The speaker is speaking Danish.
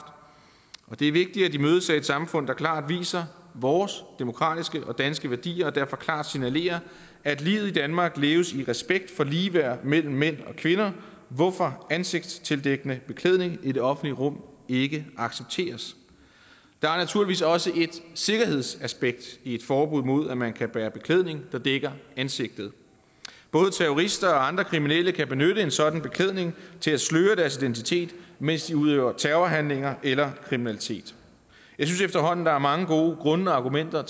og det er vigtigt at de mødes af et samfund der klart viser vores demokratiske og danske værdier og derfor klart signalerer at livet i danmark leves i respekt for ligeværd mellem mænd og kvinder hvorfor ansigtstildækkende beklædning i det offentlige rum ikke accepteres der er naturligvis også et sikkerhedsaspekt i et forbud mod at man kan bære beklædning der dækker ansigtet både terrorister og andre kriminelle kan benytte en sådan beklædning til at sløre deres identitet mens de udøver terrorhandlinger eller kriminalitet jeg synes efterhånden der er mange gode grunde og argumenter